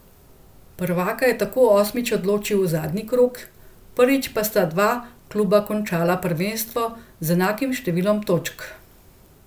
Prvaka je tako osmič odločil zadnji krog, prvič pa sta dva kluba končala prvenstvo z enakim številom točk.